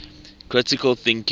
critical thinking